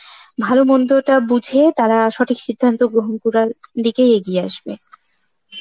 ভালো মন্দ তা বুঝে তারা সঠিক সিদ্ধান্ত গ্রহণ করার দিকে এগিয়ে আসবে.